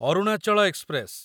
Arunachal express